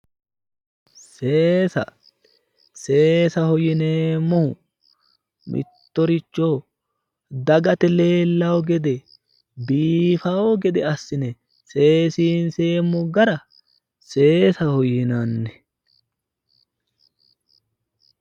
seesa seesaho yineemmohu mittoricho dagate leellanno gede biifaho gede assine seesiinseemmo gara seesaho yinanni.